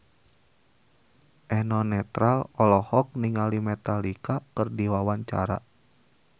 Eno Netral olohok ningali Metallica keur diwawancara